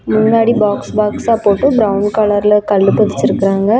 முன்னாடி பாக்ஸ் பாக்ஸ்அ போட்டு பிரவுன் கலர்ல கல்லு பதிச்சு இருக்காங்க.